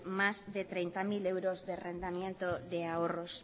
más de treinta mil euros de de ahorros